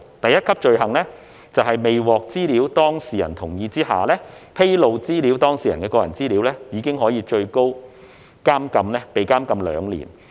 第一級罪行，在未獲資料當事人同意的情況下，披露資料當事人的個人資料，最高可以被監禁兩年。